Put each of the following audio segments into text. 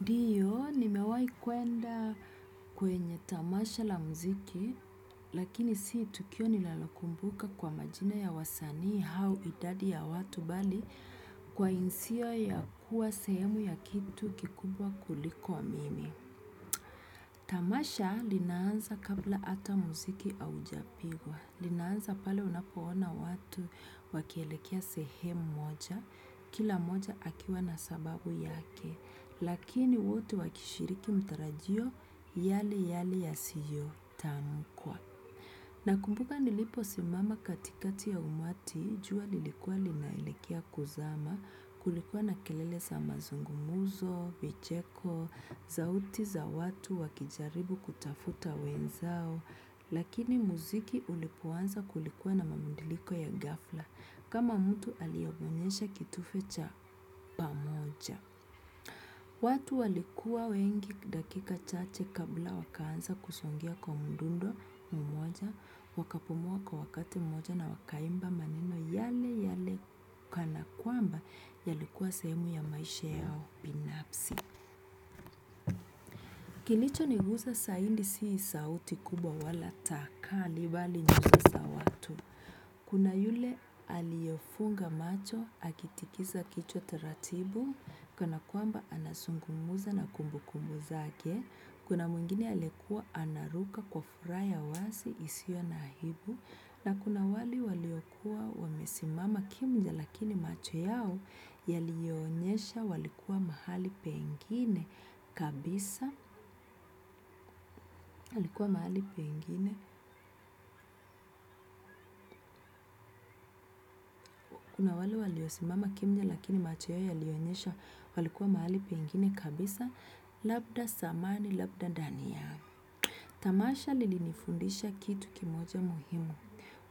Ndiyo, nimewahi kwenda kwenye tamasha la muziki, lakini si tukio ninalokumbuka kwa majina ya wasanii au idadi ya watu bali kwa hisia ya kuwa sehemu ya kitu kikubwa kuliko mimi. Tamasha linaanza kabla hata muziki haujapigwa, linaanza pale unapoona watu wakielekea sehemu moja, kila mmoja akiwa na sababu yake, lakini wote wakishiriki mtarajio yale yale yasiyo tamkwa. Nakumbuka niliposimama katikati ya umati, jua lilikua linaelekea kuzama, kulikua na kelele za mazungumzo, vicheko zauti za watu wakijaribu kutafuta wenzao, lakini muziki ulipoanza kulikuwa na mabadiliko ya ghafla, kama mtu aliyeonyesha kitufe cha pamoja. Watu walikuwa wengi dakika chache kabla wakaanza kusongea kwa mdundo mmoja, wakapumua kwa wakati mmoja na wakaimba maneno yale yale kana kwamba yalikuwa sehemu ya maisha yao binafsi. Kilocho niguza zaidi si sauti kubwa wala takali bali nyuzi za watu. Kuna yule aliyefunga macho, akitikiza kichwa taratibu, kana kuamba anazungumza na kumbukumbu zake, kuna mwingine alikuwa anaruka kwa furaha wazi isiyo na aibu, na kuna wale waliokuwa wamesimama kimya lakini macho yao yalionyesha walikuwa mahali pengine kabisa, walikuwa mahali pengine. Na wale waliosimama kimya lakini macho yao yalionyesha walikuwa mahali pengine kabisa, labda zamani, labda ndani ya. Tamasha lilinifundisha kitu kimoja muhimu.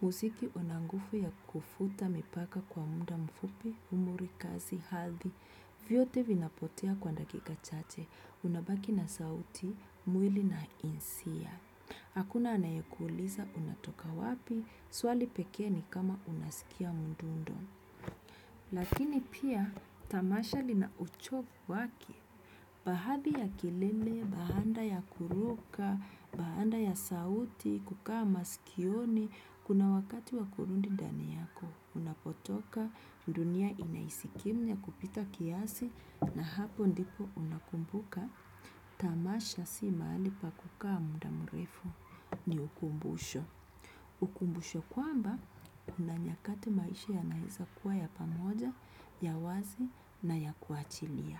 Muziki unanguvu ya kuvuta mipaka kwa muda mfupi, umri, kazi, hadhi, vyote vinapotea kwa dakika chache, unabaki na sauti, mwili na hisia. Hakuna anayekuuliza unatoka wapi, swali pekee ni kama unasikia mndundo. Lakini pia, tamasha linauchovu wake. Baadhi ya kilele, baada ya kuruka, baada ya sauti, kukaa masikioni, kuna wakati wa kurudi ndani yako, unapotoka, dunia inaishi kimya kupita kiasi, na hapo ndipo unakumbuka. Tamasha si mahali pa kukaa muda mrefu ni ukumbusho. Ukumbusho kwamba kuna nyakati maisha yanaweza kuwa ya pamoja, ya wazi na ya kuachilia.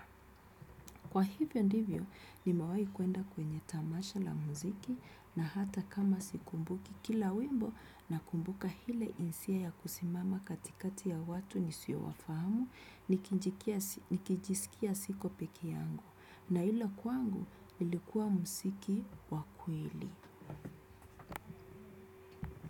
Kwa hivyo ndivyo nimewahi kwenda kwenye tamasha la muziki, na hata kama sikumbuki kila wimbo nakumbuka ile hisia ya kusimama katikati ya watu ni siowafahamu nikijisikia siko pekee yangu. Na hilo kwangu ilikuwa muziki wa kweli.